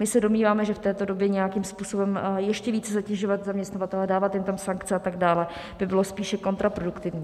My se domníváme, že v této době nějakým způsobem ještě více zatěžovat zaměstnavatele, dávat jim tam sankce atd., by bylo spíše kontraproduktivní.